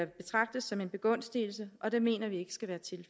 betragtes som en begunstigelse og det mener vi